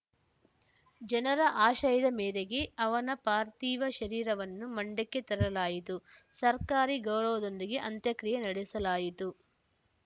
ಜನರ ಆಶಯದ ಮೇರೆಗೆ ಅವನ ಪಾರ್ಥೀವ ಶರೀರವನ್ನು ಮಂಡ್ಯಕ್ಕೆ ತರಲಾಯಿತು ಸರ್ಕಾರಿ ಗೌರವದೊಂದಿಗೆ ಅಂತ್ಯಕ್ರಿಯೆ ನಡೆಸಲಾಯಿತು